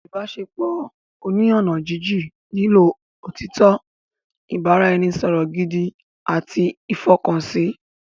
Ìbáṣepọ̀ oní ọ̀nà jínjín nílò òtítọ́, ìbára-ẹni-sọ̀rọ̀ gidi àti ìfọkànsí